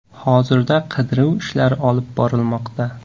Hozirda qidiruv ishlari olib borilmoqda.